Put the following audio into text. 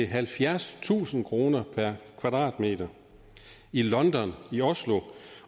halvfjerdstusind kroner per kvadratmeter london